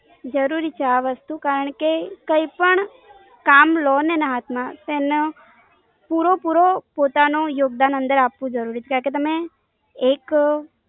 જરૂરી છે આ વસ્તુ. કારણ કે, કઈ પણ કામ લો ને ના હાથમાં, તો એમના, પૂરો પૂરો પોતાનો યોગદાન અંદર આપવું જરૂરી છે. કારણ કે તમે, એક